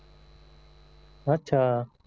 अच्छा